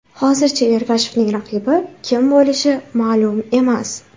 Hozircha Ergashevning raqibi kim bo‘lishi ma’lum emas.